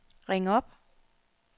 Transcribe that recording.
ring op